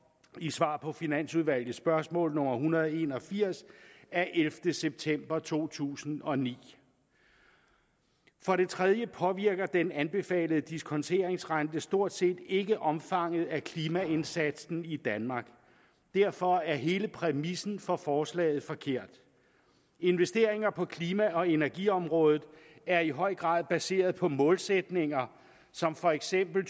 i svar på finansudvalgets spørgsmål nummer en hundrede og en og firs af ellevte september to tusind og ni for det tredje påvirker den anbefalede diskonteringsrente stort set ikke omfanget af klimaindsatsen i danmark derfor er hele præmissen for forslaget forkert investeringer på klima og energiområdet er i høj grad baseret på målsætninger som for eksempel